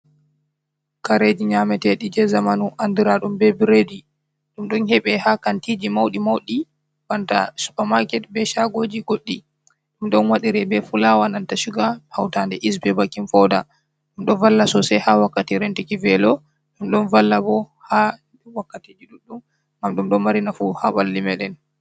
Kareji nyameteɗi je zamanu andira ɗum be bredi ɗum ɗon hebe ha kantiji mauɗi mauɗi banta supamaket be shagoji goɗɗi ɗum ɗon waɗira be fulawa nanta shuga hautande iys be bakin fauda ɗum ɗon valla sosai ha wakkati rentiki velo ɗum ɗon valla bo ha wakkatiji ɗuɗɗum ngam ɗum ɗon mari nafu ha ɓalli meɗen.